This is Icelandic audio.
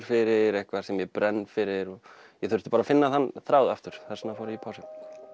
fyrir eitthvað sem ég brenn fyrir bara finna þann þráð aftur þess vegna fór ég í pásu